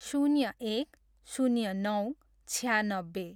शून्य एक, शून्य नौ, छयानब्बे